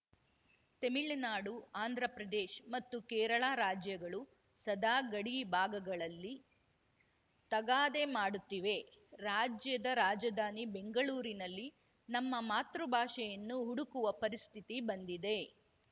ತೆಮಿಳುನಾಡು ಆಂಧ್ರಪ್ರದೇಶ್ ಮತ್ತು ಕೇರಳ ರಾಜ್ಯಗಳು ಸದಾ ಗಡಿ ಭಾಗಗಳಲ್ಲಿ ತಗಾದೆ ಮಾಡುತ್ತಿವೆ ರಾಜ್ಯದ ರಾಜಧಾನಿ ಬೆಂಗಳೂರಿನಲ್ಲಿ ನಮ್ಮ ಮಾತೃ ಭಾಷೆಯನ್ನು ಹುಡುಕುವ ಪರಿಸ್ಥಿತಿ ಬಂದಿದೆ